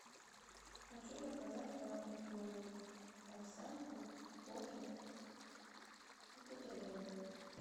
хочу заказать завтрак в номер овсянку кофе и бутерброд